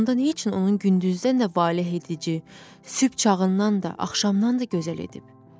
Onda nə üçün onun gündüzdə nə valehedici, sübh çağından da axşamdan da gözəl edib?